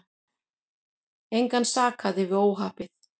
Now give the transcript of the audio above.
Engan sakaði við óhappið.